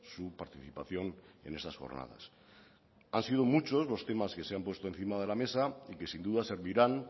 su participación en estas jornadas han sido muchos los temas que se han puesto encima de la mesa y que sin duda servirán